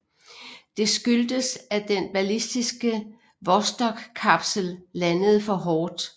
Det skyldtes at den ballistiske vostokkapsel landede for hårdt